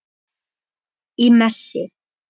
Í messi.